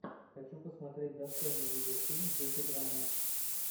хочу посмотреть достойный видеофильм в духе драмы